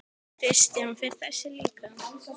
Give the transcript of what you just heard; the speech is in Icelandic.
Kristján: Fer þessi líka?